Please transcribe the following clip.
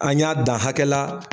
An y'a da hakɛla.